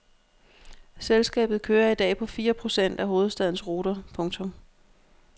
Selskabet kører i dag på fire procent af hovedstadens ruter. punktum